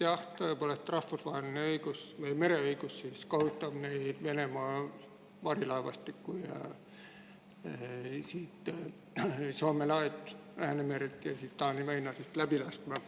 Jah, tõepoolest, rahvusvaheline mereõigus kohustab Venemaa varilaevastikku siit Soome lahelt, Läänemerelt ja Taani väinadest läbi laskma.